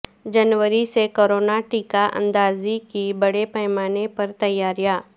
جنوری سے کورونا ٹیکہ اندازی کی بڑے پیمانہ پر تیاریاں